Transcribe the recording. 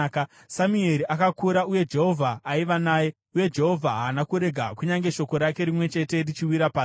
Samueri akakura uye Jehovha aiva naye; uye Jehovha haana kurega kunyange shoko rake rimwe chete richiwira pasi.